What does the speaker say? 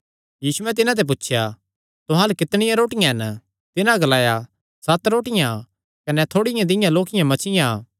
यीशुयैं तिन्हां ते पुछया तुहां अल्ल कितणियां रोटियां हन तिन्हां ग्लाया सत रोटियां कने थोड़ी दियां लोक्कियां मच्छियां